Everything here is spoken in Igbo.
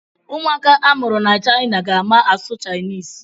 Ụmụaka a mụrụ ná China ga-ama asụ Chinese.